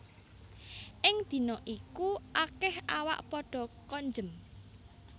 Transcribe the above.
Ing dina iku akèh awak padha konjem